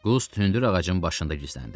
Qust hündür ağacın başında gizləndi.